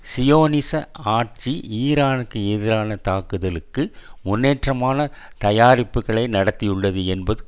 சியோனிச ஆட்சி ஈரானுக்கு எதிரான தாக்குதலுக்கு முன்னேற்றமான தயாரிப்புக்களை நடத்தியுள்ளது என்பது